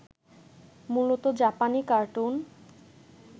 মূলত জাপানী কার্টুন